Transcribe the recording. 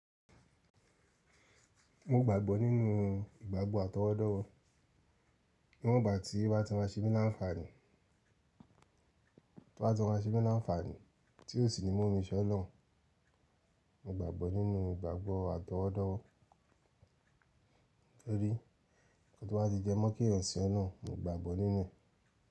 Mo gbàgbọ́ nínú ìgbàgbọ́ atọwọ́dọ́wọ́ níwọ̀n ìgbà tí o bá ti máa semi láǹfààní, tí o bá ti máa semi láǹfààní tí ó sì ni mu mi se oloun. Mo gbàgbọ́ nínú ìgbàgbọ́ atọwọ́dọ́wọ́, torí ohun tí o bá ti jẹ́mọ́ kẹ́yan sín oloun mo gbàgbọ́ nínú e.